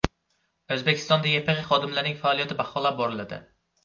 O‘zbekistonda YPX xodimlarining faoliyati baholab boriladi.